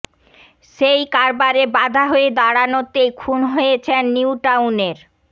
সেই কারবারে বাধা হয়ে দাঁড়ানোতেই খুন হয়েছেন নিউ টাউনের